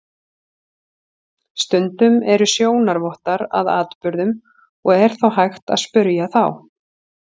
Stundum eru sjónarvottar að atburðum og er þá hægt að spyrja þá.